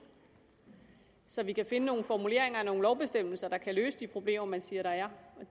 så vi kan finde nogle formuleringer og nogle lovbestemmelser der kan løse de problemer man siger der er